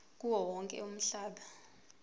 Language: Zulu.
kuwo wonke umhlaba